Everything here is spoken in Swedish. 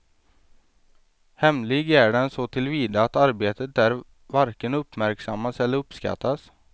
Hemlig är den så tillvida att arbetet där varken uppmärksammas eller uppskattas.